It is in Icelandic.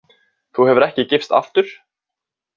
Þú hefur ekki gifst aftur?